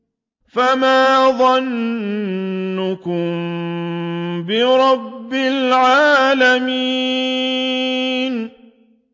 فَمَا ظَنُّكُم بِرَبِّ الْعَالَمِينَ